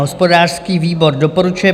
Hospodářský výbor doporučuje